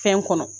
Fɛn kɔnɔ